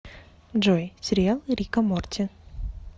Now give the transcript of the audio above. джой сериал рика морти